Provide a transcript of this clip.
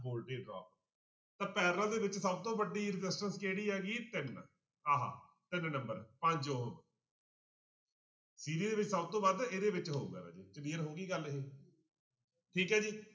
Voltage drop ਤਾਂ parallel ਦੇ ਵਿੱਚ ਸਭ ਤੋਂ ਵੱਡੀ resistance ਕਿਹੜੀ ਹੈਗੀ ਤਿੰਨ ਆਹ ਤਿੰਨ number ਪੰਜ ਕਿਹਦੇ ਵਿੱਚ ਸਭ ਤੋਂ ਵੱਧ ਇਹਦੇ ਵਿੱਚ ਹੋਊਗਾ ਰਾਜੇ clear ਹੋ ਗਈ ਗੱਲ ਇਹ ਠੀਕ ਹੈ ਜੀ